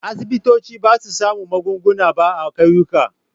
Asibitoci ba su sami magunguna ba a ƙauyuka.